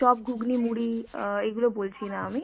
chop, ঘুগন, মুড়ি অ্যাঁ এইগুলো বলছি না আমি,